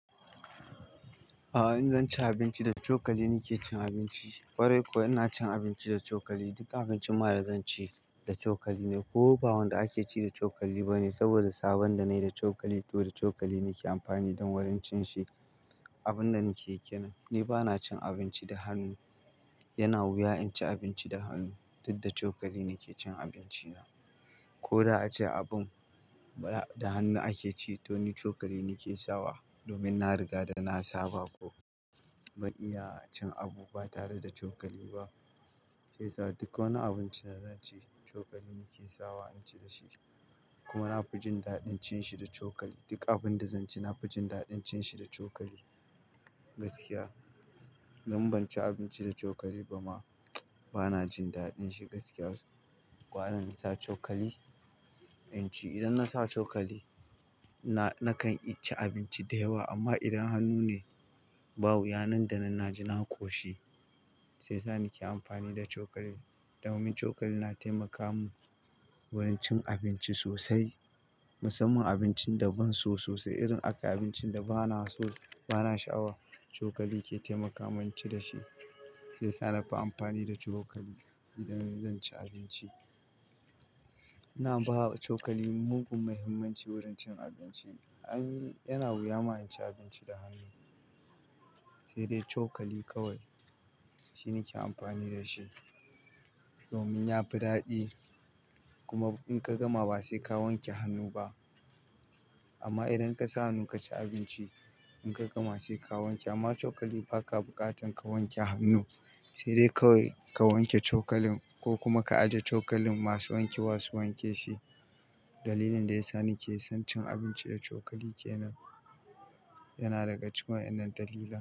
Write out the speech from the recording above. A'a in zan ci abinci, da cokali nake cin abinci. Kwarai kuwa ina cin abinci da cokali. Duk abincin ma da zan ci da cokali ne. Ko ba wanda ake ci da cokali ba ne saboda sabon da na yi da cokali, to da cokali nake amfani don wurin cin shi. Abun da nake kenan, ni bana cin abinci da hannu. Yana wuya in ci abinci da hannu, duk da cokali nake cin abinci na. Ko da ace abun da hannu ake ci to ni cokali nake sawa domin na riga da na saba ko ban iya cin abu ba tare da cokali ba. Sai yasa, duk wani abinci da zan ci, cokali nake sawa in ci da shi. Kuma na fi jin daɗin cin shi da cokali. Duk abin da zan ci na fi jin daɗin cin shi da cokali gaskiya. Idan ban ci abinci da cokali ba ma bana jin daɗin shi gaskiya. Gara in sa cokali in ci, idan na sa cokali nakan ci abinci da yawa amma idan hannu ne, ba wuya nan da nan na ji na koshi. Sai sa nake amfani da cokali domin cokali na taimaka mun wurin cin abinci sosai. Musamman abincin da ban so sosai irin aka yi abincin da bana so bana sha'awa, cokali ke taimaka min ci da shi. Sai yasa na fi amfani da cokali idan zan ci abinci. Ina bawa cokali mugun muhimmanci wurin cin abinci. Ai ni- yana wuya ma in ci abinci da hannu, sai dai cokali kawai shine ke amfani da shi domin yafi daɗi kuma in ka gama ba sai ka wanke hannu ba. Amma idan ka sa hannu ka ci abinci in ka gama sai ka wanke amma cokali ba ka buƙatan ka wanke hannu sai dai kawai ka wanke cokalin ko kuma ka ajiye cokalin masu wanke wa su wanke shi. Dalilin da ya sa nake son cin abinci da cokali kenan yana daga cikin wayannan dalilai.